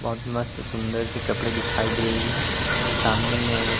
बहुत मस्त सुंदर से कपड़े दिखाई दे रही है सामने में एक--